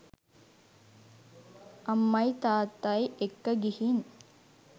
අම්මයි තාත්තයි එක්ක ගිහින්